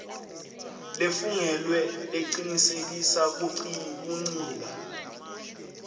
lefungelwe lecinisekisa kuncika